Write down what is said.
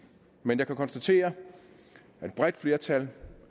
men jeg kan konstatere at et bredt flertal